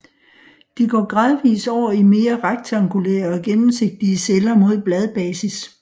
De går gradvist over i mere rektangulære og gennemsigtige celler mod bladbasis